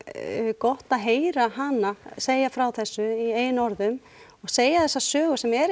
gott að heyra hana segja frá þessu í eigin orðum og segja þessa sögu sem er